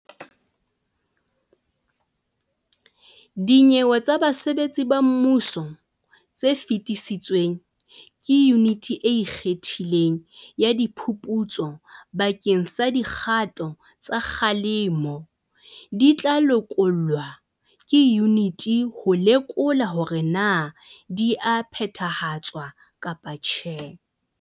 Dinyewe tsa basebetsi ba mmuso tse fetisitsweng ke Yuniti e Ikgethileng ya Diphuputso bakeng sa dikgato tsa kgalemo di tla lekolwa ke yuniti ho lekola hore na di a phethahatswa kapa tjhe.